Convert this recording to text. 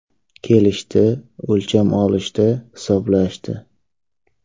Kelishdi, o‘lcham olishdi, hisoblashdi.